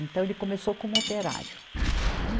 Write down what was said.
Então, ele começou como operário. né